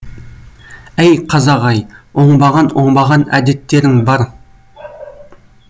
әй қазақ ай оңбаған оңбаған әдеттерің бар